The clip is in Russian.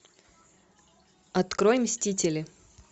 открой мстители